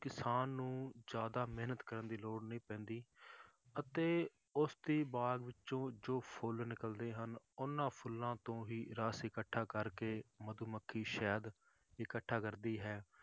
ਕਿਸਾਨ ਨੂੰ ਜ਼ਿਆਦਾ ਮਿਹਨਤ ਕਰਨ ਦੀ ਲੋੜ ਨਹੀਂ ਪੈਂਦੀ ਅਤੇ ਉਸਦੀ ਬਾਗ਼ ਵਿੱਚੋਂ ਜੋ ਫੁੱਲ ਨਿਕਲਦੇ ਹਨ ਉਹਨਾਂ ਫੁੱਲਾਂ ਤੋਂ ਹੀ ਰਸ ਇਕੱਠਾ ਕਰਕੇ ਮਧੂਮੱਖੀ ਸ਼ਹਿਦ ਇਕੱਠਾ ਕਰਦੀ ਹੈ